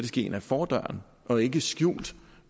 ske ind ad fordøren og ikke skjult